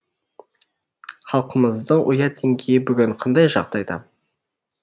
халқымыздың ұят деңгейі бүгін қандай жағдайда